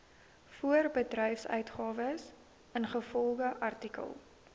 voorbedryfsuitgawes ingevolge artikel